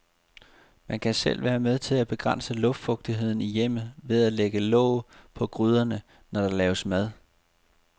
Man kan selv være med til at begrænse luftfugtigheden i hjemmet ved at lægge låg på gryderne, når der laves mad.